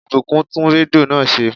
Ìbùkún tún rédíò náà ṣe